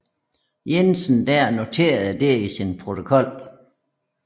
Jensen der noterede det i sin protokol